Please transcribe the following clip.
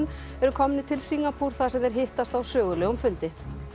eru komnir til Singapúr þar sem þeir hittast á sögulegum fundi